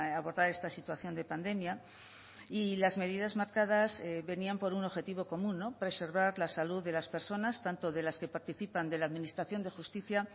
abordar esta situación de pandemia y las medidas marcadas venían por un objetivo común preservar la salud de las personas tanto de las que participan de la administración de justicia